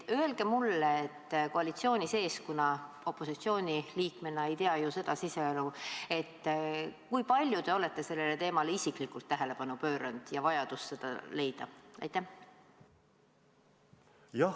Öelge mulle, kes ma opositsiooniliikmena ei tea ju koalitsiooni siseelu, kui palju te olete sellele teemale ja raha leidmise vajadusele isiklikult tähelepanu pööranud?